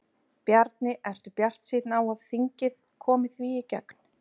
Bjarni, ertu bjartsýnn á að þingið komi því í gegn?